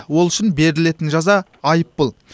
ол үшін берілетін жаза айыппұл